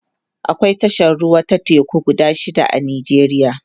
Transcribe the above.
akwai tashar ruwa ta teku guda shida a nijeriya